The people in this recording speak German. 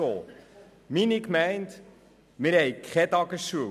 In meiner Gemeinde gibt es keine Tagesschule.